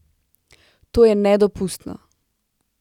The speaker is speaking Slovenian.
To je nedopustno.